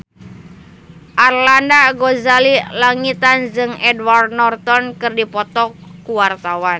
Arlanda Ghazali Langitan jeung Edward Norton keur dipoto ku wartawan